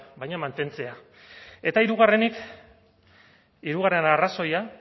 baina mantentzea eta hirugarrenik hirugarren arrazoia